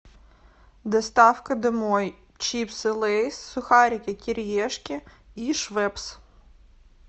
доставка домой чипсы лейс сухарики кириешки и швепс